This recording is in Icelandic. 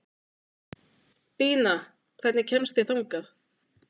Bína, hvernig kemst ég þangað?